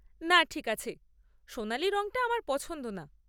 না ঠিক আছে, সোনালী রঙটা আমার পছন্দ না।